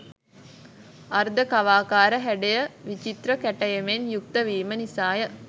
අර්ධ කවාකාර හැඩය විචිත්‍ර කැටයමෙන් යුක්තවීම නිසාය.